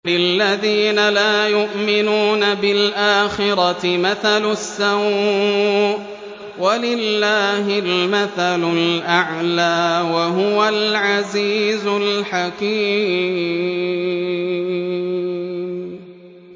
لِلَّذِينَ لَا يُؤْمِنُونَ بِالْآخِرَةِ مَثَلُ السَّوْءِ ۖ وَلِلَّهِ الْمَثَلُ الْأَعْلَىٰ ۚ وَهُوَ الْعَزِيزُ الْحَكِيمُ